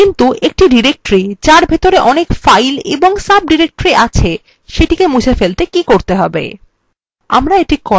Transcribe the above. কিন্তু একটি directory যার ভেতরে অনেক files এবং সাবডিরেক্টরি আছে সেটিকে মুছে ফেলতে কী করতে হবে